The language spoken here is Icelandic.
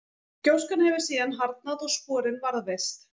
gjóskan hefur síðan harðnað og sporin varðveist